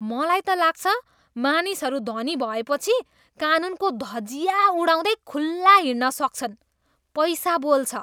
मलाई त लाग्छ, मानिसहरू धनी भएपछि कानुनको धजिया उडाउँदै खुल्ला हिँड्न सक्छन्। पैसा बोल्छ!